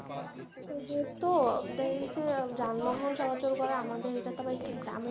ওর তো যানবাহন চলাচল করে, আমাদের এটা তো একটু গ্রামের